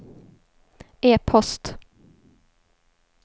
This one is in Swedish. e-post